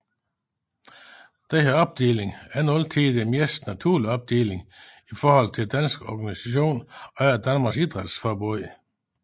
Denne opdeling er ikke altid den mest naturlige opdeling i forhold til dansk organisation under Danmarks Idrætsforbund